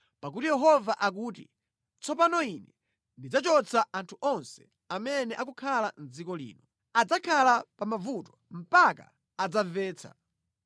Pakuti Yehova akuti, “Tsopano Ine ndidzachotsa anthu onse amene akukhala mʼdziko lino; adzakhala pa mavuto mpaka adzamvetsa.”